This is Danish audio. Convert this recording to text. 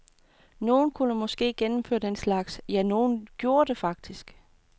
Nogen kunne måske gennemføre den slags, ja, nogen gjorde det faktisk.